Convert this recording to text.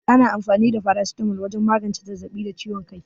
Ana anfani da farasitamol wajen magance zazzaɓi da ciwon kai.